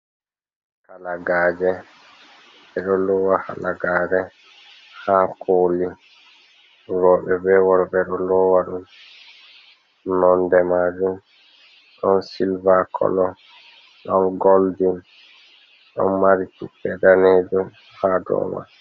Halagaaje. Ɓe ɗo loowa halagaare haa koli, rooɓe be worɓe ɓe ɗo loowa ɗum. Nonde maajum ɗon sillva kolo, ɗon goldin, ɗon mari tuppe daneejum haa doman.